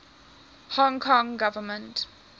hong kong government